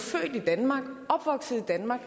opvokset i danmark